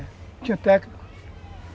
É. Tinha técnico.